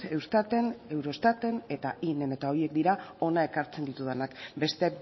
eustaten eurostaten eta inen eta horiek dira hona ekartzen ditudanak beste